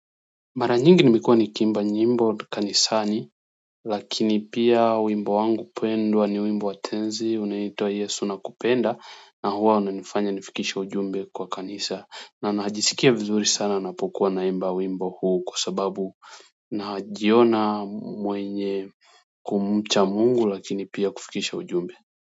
Mara nyingi nimekuwa nikiimba nyimbo kanisani lakini pia wimbo wangu pendwa ni wimbo wa tenzi unaitwa Yesu nakupenda na huwa unanifanya nifikishe ujumbe kwa kanisa na najisikia vizuri sana ninapokuwa naimba wimbo huu kwa sababu najiona mwenye kumcha Mungu lakini pia kufikisha ujumbe.